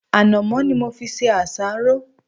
Ànàmọ́ ni mo fi ṣe àsáró.